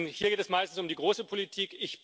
Hier geht es meist um die große Politik.